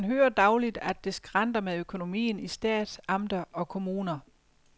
Man hører dagligt, at det skranter med økonomien i stat, amter og kommuner.